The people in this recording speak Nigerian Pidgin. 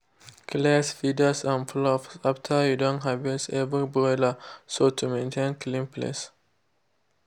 clears feathers and fluff after you don harvest every broiler so to mantain clean place.